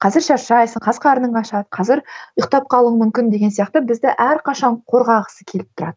қазір шаршайсың қазір қарның ашады қазір ұйктап қалуың мүмкін деген сияқты бізді әрқашан қорғағысы келіп турады